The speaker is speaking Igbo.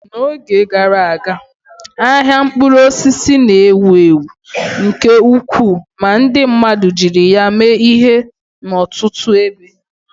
N'oge gara aga, ahịa mkpụrụ osisi na-ewu ewu nke ukwuu ma ndi mmadu jiri ya mee ihe n'ọtụtụ ebe.